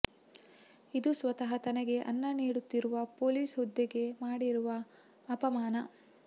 ಇದು ಸ್ವತಃ ತನಗೆ ಅನ್ನ ನೀಡುತ್ತಿರುವ ಪೊಲೀಸ್ ಹುದ್ದೆಗೆ ಮಾಡಿರುವ ಅಪಮಾನ